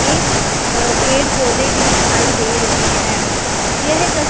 ये अ पेड़ पौधे भी दिखाई दे रहे हैं यह तस--